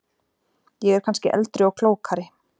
Ég er kannski eldri og klókari.